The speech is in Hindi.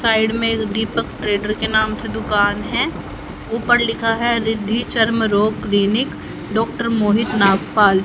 साइड में दीपक ट्रेडर्स के नाम से दुकान है ऊपर लिखा है रिद्धि चर्म रोग क्लिनिक डॉक्टर मोहित नागपाल।